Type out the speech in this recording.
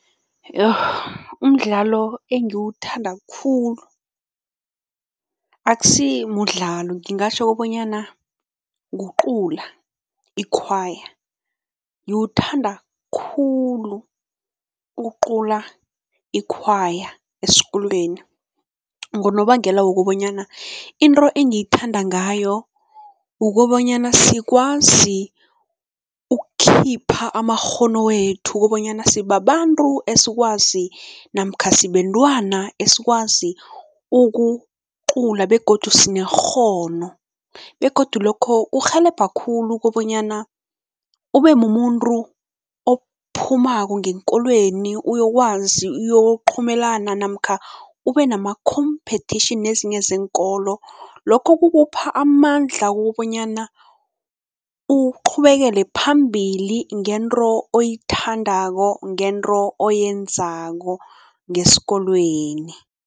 Umdlalo engiwuthanda khulu akusimudlalo, ngingatjho kobanyana kucula i-choir. Ngiwuthanda khulu ukucula i-choir esikolweni ngonobangela wokobanyana into engiyithanda ngayo ukobanyana sikwazi ukukhipha amakghono wethu kobanyana sibabantu esikwazi namkha sibentwana esikwazi ukucula begodu sinekghono begodu lokho kurhelebha khulu kobanyana ubemumuntu ophumako ngeenkolweni uyokwazi uyokuqhumelana namkha ubenama-competition nezinye zeenkolo. Lokho kukupha amandla wokobanyana uqhubekele phambili ngento oyithandako, ngento oyenzako ngesikolweni.